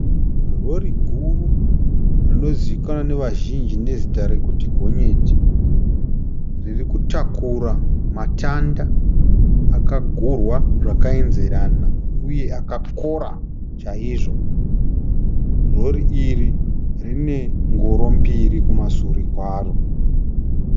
Rori guru rinozivikanwa nevazhinji nezita rekuti gonyeti. Riri kutakura matanda akagurwa zvakaenzerana uye akakora chaizvo. Rori iri rine ngoro mbiri kumasure kwaro.